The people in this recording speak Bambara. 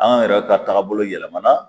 An yɛrɛ ka taabolo yɛlɛmana